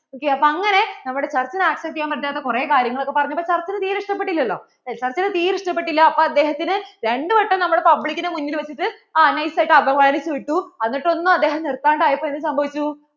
ok അപ്പോൾ church അങ്ങനെ accept ചെയ്യാൻ പറ്റാതെ കുറേ കാര്യങ്ങൾ ഒക്കെ പറഞ്ഞപോൾ church നു തീരേ ഇഷ്ട്ടപെട്ടില്ലലോ church നു തീരേ ഇഷ്ട്ടപെട്ടിലാ അപ്പോൾ അദ്ദേഹത്തിനെ രണ്ടു വട്ടം നമ്മൾ public നു മുന്നില്‍ വെച്ചിട്ട് nice ആയിട്ട് അപമാനിച്ചു വിട്ടു എന്നിട്ട് ഒന്നും അദ്ദേഹം നിർത്താണ്ട് ആയപ്പോൾ എന്ത് സംഭവിച്ചു?